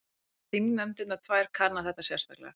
Muni þingnefndirnar tvær kanna þetta sérstaklega